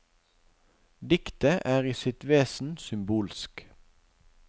Diktet er i sitt vesen symbolsk.